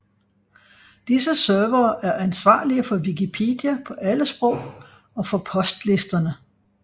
Disse servere er ansvarlige for Wikipedia på alle sprog og for postlisterne